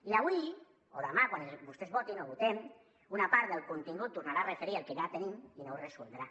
i avui o demà quan votem una part del contingut es tornarà a referir al que ja tenim i no ho resoldrà